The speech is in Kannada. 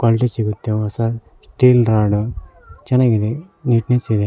ಬಾಂಡ್ಲಿ ಸಿಗುತ್ತೆ ಹೊಸ ಸ್ಟೀಲ್ ರಾಡ್ ಚೆನಾಗಿದೆ ನೀಟ್ನೆಸ್ ಇದೆ.